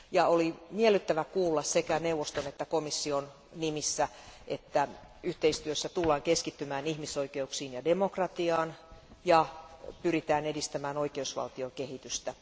Oli miellyttävä kuulla sekä neuvoston että komission nimissä, että yhteistyössä tullaan keskittymään ihmisoikeuksiin ja demokratiaan ja pyritään edistämään oikeusvaltion kehitystä.